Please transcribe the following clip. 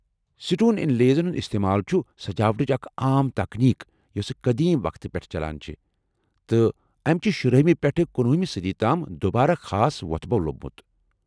Stone انلیزن ہنٛد استعمال چُھ سجاوٹچ اکھ عام تکنیک یوسہٕ قدیم وقتٕ پیٹھہٕ چلان چھے٘ ، تہٕ أمۍ چھِ شُراہِمہِ پیٹھہٕ کُنۄہِمہِ صدی تام دُبارٕ خاص وو٘تھٕ بھو لۄبمُت ۔